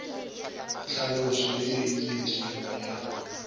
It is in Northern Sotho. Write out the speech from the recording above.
tlhaloso ye e tletšego ya